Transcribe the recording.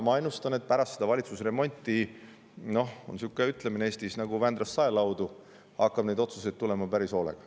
Ma ennustan, et pärast seda valitsusremonti hakkab otsuseid tulema – Eestis on sihuke ütlemine "nagu Vändrast saelaudu" – päris hoolega.